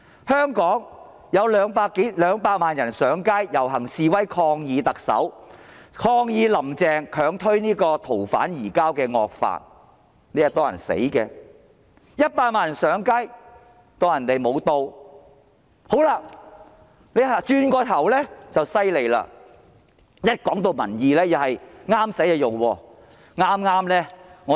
香港有200萬人上街遊行示威，抗議"林鄭"強推修訂《逃犯條例》的惡法，"林鄭"置若罔聞 ；100 萬人上街，她視而不見；但轉過頭來，"林鄭"便厲害了，當說到民意時，她也是選擇合適的才用。